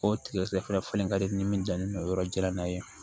O tigɛ fana ka di ni min janlen don yɔrɔ jara n'a ye